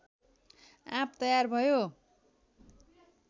आँप तयार भयो